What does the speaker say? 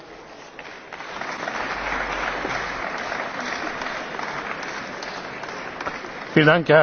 Meine Damen und Herren, ich danke für die Erklärungen der Fraktionen.